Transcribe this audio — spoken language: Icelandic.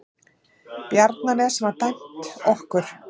Bjarnanes var dæmt okkur!